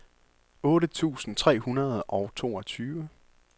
otte tusind tre hundrede og toogtyve